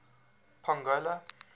pongola